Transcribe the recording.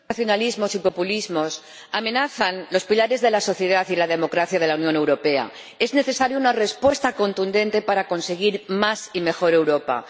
Señor Presidente, los nacionalismos y populismos amenazan los pilares de la sociedad y la democracia de la Unión Europea. Es necesaria una respuesta contundente para conseguir más y mejor Europa.